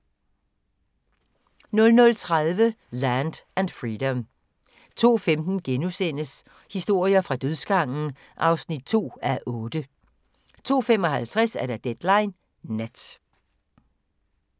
00:30: Land and Freedom 02:15: Historier fra dødsgangen (2:8)* 02:55: Deadline Nat